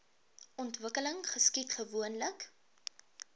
ontwikkeling geskied gewoonlik